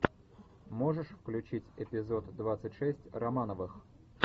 можешь включить эпизод двадцать шесть романовых